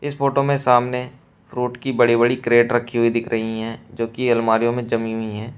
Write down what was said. इस फोटो में सामने फ्रूट की बड़ी बड़ी क्रेट रखी हुई दिख रही हैं जो की अलमारियों में जमी हुई हैं।